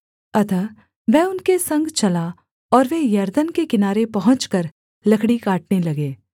अतः वह उनके संग चला और वे यरदन के किनारे पहुँचकर लकड़ी काटने लगे